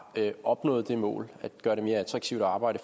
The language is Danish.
opnået det mål at gøre det mere attraktivt at arbejde